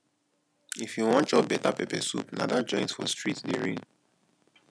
if you wan chop better pepper soup na dat joint for street dey reign